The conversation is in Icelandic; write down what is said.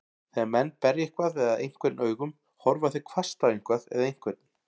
Þegar menn berja eitthvað eða einhvern augum, horfa þeir hvasst á eitthvað eða einhvern.